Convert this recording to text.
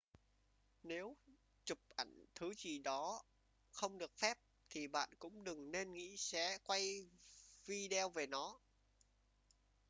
nếu chụp ảnh thứ gì đó không được phép thì bạn cũng đừng nên nghĩ sẽ quay video về nó